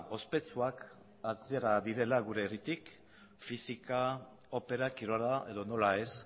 ospetsuak atera direla gure herritik fisika opera kirola edo nola ez